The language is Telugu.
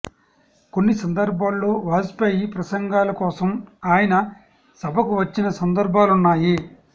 కొన్ని సందర్భాల్లో వాజ్పేయి ప్రసంగాల కోసం ఆయన సభకు వచ్చిన సందర్భాలున్నాయి